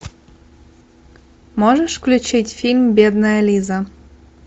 можешь включить фильм бедная лиза